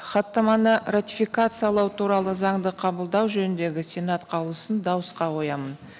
хаттаманы ратификациялау туралы заңды қабылдау жөніндегі сенат қаулысын дауысқа қоямын